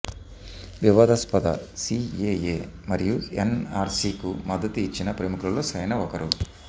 వివాదాస్పద సిఏఏ మరియు ఎన్ఆర్సి కు మద్దతు ఇచ్చిన ప్రముఖులలో సైనా ఒకరు